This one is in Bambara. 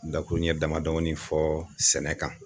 Dakurun ɲɛ dama dɔnin fɔ sɛnɛ kan.